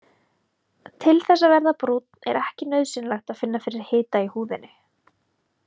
Til þess að verða brúnn er ekki nauðsynlegt að finna fyrir hita í húðinni.